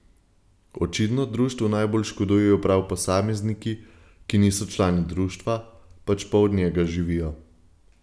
Očitno društvu najbolj škodujejo prav posamezniki, ki niso člani društva, pač pa od njega živijo.